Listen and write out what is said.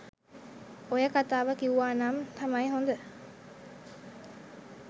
ඔය කතාව කිවුවනම් තමයි හොඳ?